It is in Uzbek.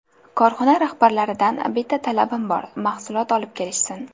Korxona rahbarlaridan bitta talabim bor mahsulot olib kelishsin.